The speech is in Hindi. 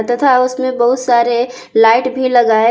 तथा उसमें बहुत सारे लाइट भी लगाए--